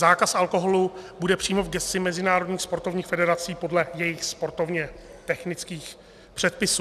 Zákaz alkoholu bude přímo v gesci mezinárodních sportovních federací podle jejich sportovně technických předpisů.